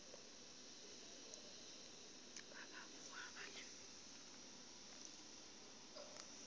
ba ba boa ba le